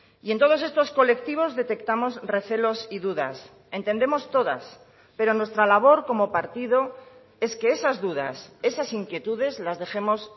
y en todos estos colectivos detectamos recelos y dudas entendemos todas pero nuestra labor como partido es que esas dudas esas inquietudes las dejemos